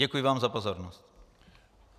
Děkuji vám za pozornost.